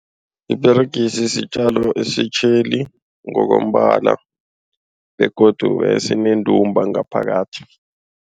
Iperegisi sitjalo esitjheli ngokombala begodu esinendumba ngaphakathi.